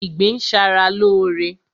Ìgbín ń ṣa ra lóóre